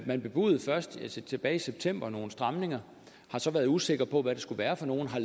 man bebudede først tilbage i september nogle stramninger har så været usikker på hvad det skulle være for nogle har